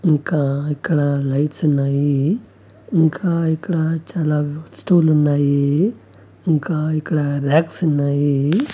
ఇంకా ఇక్కడ లైట్స్ ఉన్నాయి ఇంకా ఇక్కడ చాలా వస్తువులు ఉన్నాయి ఇంకా ఇక్కడ రాక్స్ ఉన్నాయి.